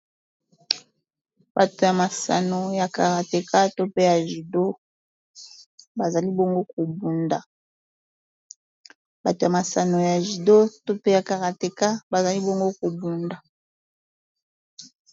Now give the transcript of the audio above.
Batu ya masano, ya karateka to pe judo bazali bongo kobunda.